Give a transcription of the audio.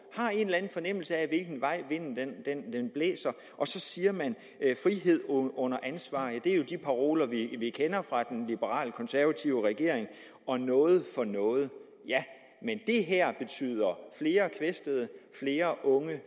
har en eller anden fornemmelse af hvilken vej vinden blæser og så siger man frihed under ansvar ja det er jo de paroler vi kender fra den liberalekonservative regering og noget for noget ja men det her betyder flere kvæstede flere unge